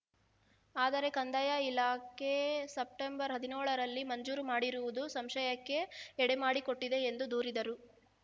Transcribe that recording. ಆದರೆ ಕಂದಾಯ ಇಲಾಖೆ ಸೆಪ್ಟೆಂಬರ್ ಹದಿನ್ಯೋಳರಲ್ಲಿ ಮಂಜೂರು ಮಾಡಿರುವುದು ಸಂಶಯಕ್ಕೆ ಎಡೆಮಾಡಿಕೊಟ್ಟಿದೆ ಎಂದು ದೂರಿದರು